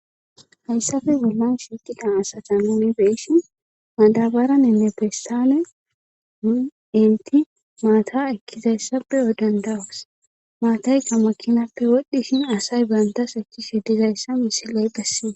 haysape bollan shiiqida asata nuuni be7ishin madabaraninne pesttalen nun eeti maata ekkizayssa be7o dandda7os maataykka maakinappe wodhdhishin asay banttas ekkishe dizayssa misile besse.